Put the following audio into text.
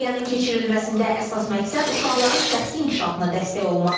Düşərgənin keçirilməsində əsas məqsəd uşaqların şəxsi inkişafına dəstək olmaqdır.